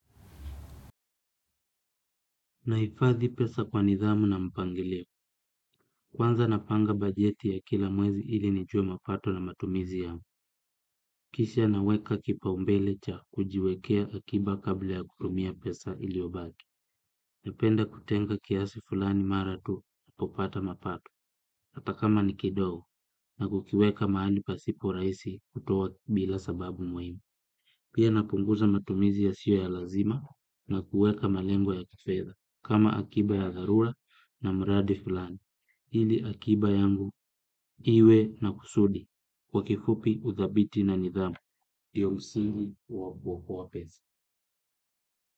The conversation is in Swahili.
Naifadhi pesa kwa nidhamu na mpangilio. Kwanza napanga bajeti ya kila mwezi ili nijue mapato na matumizi yangu. Kisha naweka kipaumbele cha kujiwekea akiba kabla ya kutumia pesa iliyobaki. Napenda kutenga kiasi fulani mara tu na popata mapato. Ata kama ni kidogo na kukiweka mahali pasiporaisi kutuwa bila sababu muhimu. Pia napunguza matumizi yasio ya lazima na kuweka malengo ya kifedhaa kama akiba ya dharura na mraadi fulani. Ili akiba yangu iwe na kusudi kwa kifupi uthabiti na nidhamu ndiyo msingi wa kuokoa pesa.